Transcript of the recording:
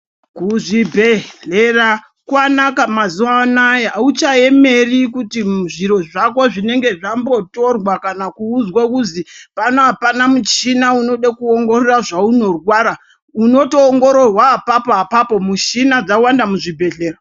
Kuzvibhedhlera kwanaka mazuwa ano auchamboeneri kuti zviro zvako zvinenge zvambotorwa, kana kuudzwa kuzwi pano apana michina wekuongorora zvaunorwara, unotoongororwa apapo apapo michina dzawanda muzvibhedhlera.